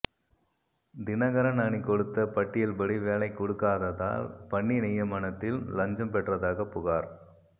தினகரன் அணி கொடுத்த பட்டியல்படி வேலை கொடுக்காததால் பணி நியமனத்தில் லஞ்சம் பெற்றதாக புகார்